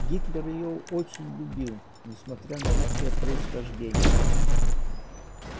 гитлер её очень любил несмотря на русское происхождение